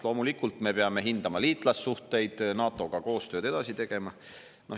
Loomulikult, me peame hindama liitlassuhteid, NATO-ga koostööd edasi tegema.